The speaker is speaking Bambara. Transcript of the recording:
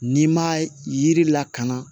N'i ma yiri lakana